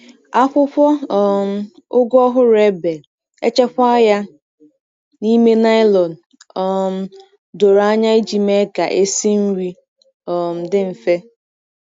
Akwụkwọ um ugu ọhụrụ e bee, echekwaa ya n’ime nylon um doro anya iji mee ka esi nri um dị mfe.